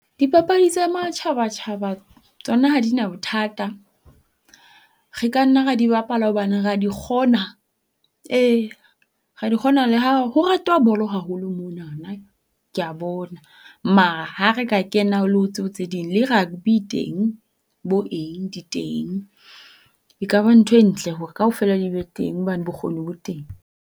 Dipapadi tsa matjhaba-tjhaba tsona ha di na bothata. Re ka nna ra di bapala hobane rea di kgona. Ee rea di kgona le ha ho ratwa bolo haholo monanana kea bona. Mara ha re ka kena ho le ho tseo tse ding le rugby e teng bo eng di teng. E ka ba ntho e ntle hore kaofela di be teng, hobane bokgoni bo teng.